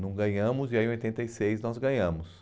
Não ganhamos e aí em oitenta e seis nós ganhamos.